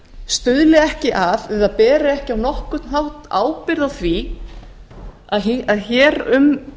stuðli ekki að eða beri ekki á nokkurn hátt ábyrgð á því að hér um